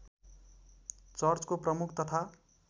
चर्चको प्रमुख तथा